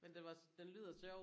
Men den var den lyder sjov